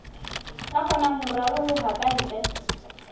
ka kgonang ho raroloha kantle